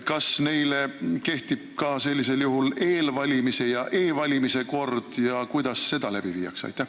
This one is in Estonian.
Kas neile kehtib ka sellisel juhul eelvalimise ja e-valimise kord ja kuidas seda läbi viiakse?